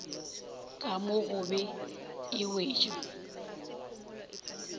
ka mo gobe e wetšwa